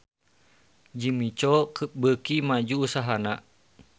Jimmy Coo beuki maju usahana